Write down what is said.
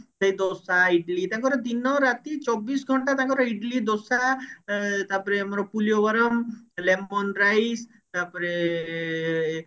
ସେଇ ଦୋସା ଇଡିଲି ତାଙ୍କର ଦିନ ରାତି ଚବିଶି ଘଣ୍ଟା ତାଙ୍କର ଇଡିଲି ଦୋସା ଏ ତାପରେ ଆମର ପୁଲିୟବରମ lemon rice ତାପରେ ଏ